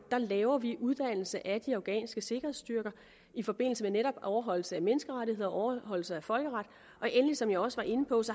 laver vi uddannelse af de afghanske sikkerhedsstyrker i forbindelse med netop overholdelse af menneskerettigheder og overholdelse af folkeret og endelig som jeg også var inde på